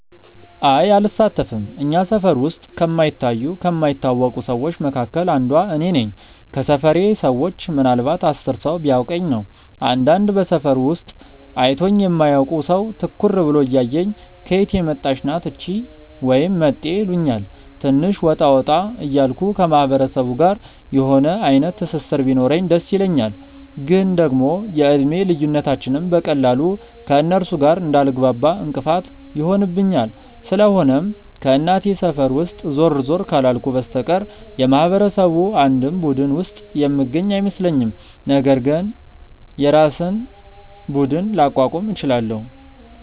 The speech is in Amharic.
አይ አልሳተፍም። እኛ ሰፈር ውስጥ ከማይታዩ ከማይታወቁ ሰዎች መካከል አንዷ እኔ ነኝ። ከሰፈሬ ሰዎች ምናልንባት 10 ሰው ቢያውቀኝ ነው። አንዳንድ በሰፈሩ ውስጥ አይቶኝ የማያውቅ ሰው ትኩር ብሎ እያየኝ "ከየት የመጣች ናት እቺ?" ወይም "መጤ" ይሉኛል። ትንሽ ወጣ ወጣ እያልኩ ከማህበረሰቡ ጋር የሆነ አይነት ትስስር ቢኖረኝ ደስ ይለኛል፤ ግን ደግሞ የእድሜ ልዩነታችንም በቀላሉ ከእነርሱ ጋር እንዳልግባባ እንቅፋት ይሆንብኛል። ስለሆነም ከእናቴ ሰፈር ውስጥ ዞር ዞር ካላልኩ በስተቀር የማህበረሰቡ አንድም ቡድን ውስጥ የምገኝ አይመስለኝም፤ ነገር ግን የራሴን ቡድን ላቋቁም እችላለው።